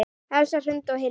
Elsa Hrund og Hilmir.